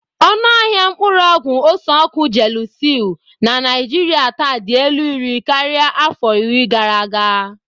Ọnụ ahịa mkpuru ogwu ose-oku Gelusil na Naijiria taa dị elu iri karịa afọ iri gara aga.